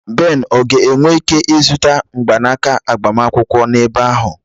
Ben ọ ga-enwe ike ịzụta mgbanaka agbamakwụkwọ n'ebe ahụ?